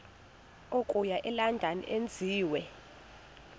okuya elondon enziwe